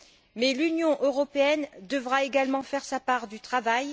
Mais l'Union européenne devra également faire sa part du travail.